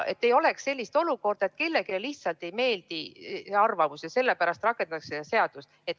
Ei tohiks tekkida sellist olukorda, et kellelegi ei meeldi mingisugune arvamus ja sellepärast rakendatakse seda seadust.